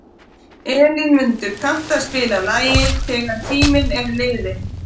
Elínmundur, kanntu að spila lagið „Þegar tíminn er liðinn“?